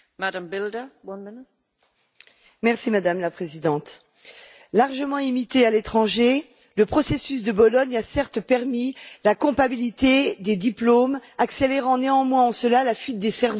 Madame la Présidente, largement imité à l'étranger, le processus de Bologne a certes permis la compatibilité des diplômes, en accélérant néanmoins la fuite des cerveaux à l'intérieur même de l'Union européenne.